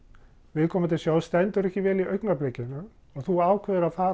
viðkomandi sjóðs stendur ekki vel í augnablikinu og þú ákveður að fara